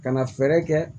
Ka na fɛɛrɛ kɛ